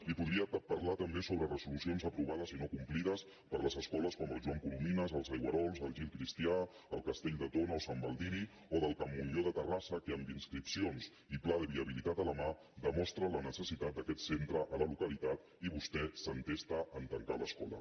li podria parlar també sobre resolucions aprovades i no complides per a les escoles com la joan coromines els aigüerols la gil cristià el castell de tona o sant baldiri o del can montllor de terrassa que amb inscripcions i pla de viabilitat a la mà demostra la necessitat d’aquest centre a la localitat i vostè s’entesta a tancar l’escola